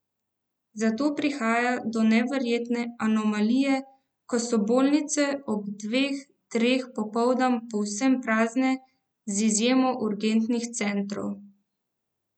Zato prihaja do neverjetne anomalije, ko so bolnice ob dveh, treh popoldan povsem prazne, z izjemo urgentnih centrov.